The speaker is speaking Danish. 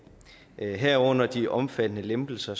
herunder de omfattende lempelser